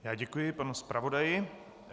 Já děkuji panu zpravodaji.